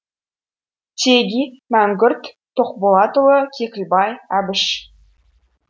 теги мәңгүрт тоқболатұлы кекілбай әбіш